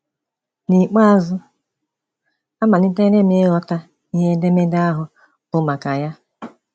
N’ikpeazụ, amalitere m ịghọta ihe edemede ahụ bụ maka ya.